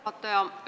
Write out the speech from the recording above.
Hea juhataja!